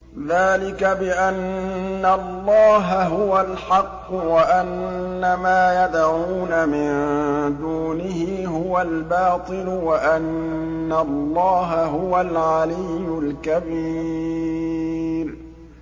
ذَٰلِكَ بِأَنَّ اللَّهَ هُوَ الْحَقُّ وَأَنَّ مَا يَدْعُونَ مِن دُونِهِ هُوَ الْبَاطِلُ وَأَنَّ اللَّهَ هُوَ الْعَلِيُّ الْكَبِيرُ